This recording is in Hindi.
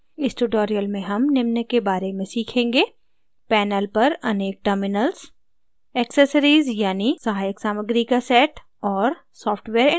इस tutorial में हम निम्न के बारे में सीखेंगे: